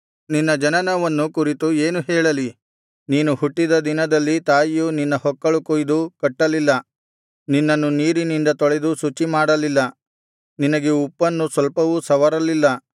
ನಿನ್ನ ಜನನವನ್ನು ಕುರಿತು ಏನು ಹೇಳಲಿ ನೀನು ಹುಟ್ಟಿದ ದಿನದಲ್ಲಿ ತಾಯಿಯು ನಿನ್ನ ಹೊಕ್ಕಳು ಕೊಯ್ದು ಕಟ್ಟಲಿಲ್ಲ ನಿನ್ನನ್ನು ನೀರಿನಿಂದ ತೊಳೆದು ಶುಚಿಮಾಡಲಿಲ್ಲ ನಿನಗೆ ಉಪ್ಪನ್ನು ಸ್ವಲ್ಪವೂ ಸವರಲಿಲ್ಲ ನಿನ್ನನ್ನು ಬಟ್ಟೆಯಲ್ಲು ಸುತ್ತಲಿಲ್ಲ